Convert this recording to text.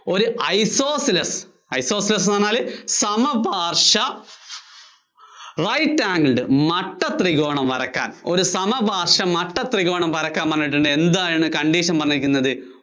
ഒരു isosceles, isosceles എന്നു പറഞ്ഞാല് സമപാര്‍ശ്വ right angled മട്ട ത്രികോണം വരയ്ക്കാന്‍ ഒരു സമപാര്‍ശ്വ മട്ട ത്രികോണം വരയ്ക്കാന്‍ പറഞ്ഞാല് എന്താണ് condition പറഞ്ഞിരിക്കുന്നത്?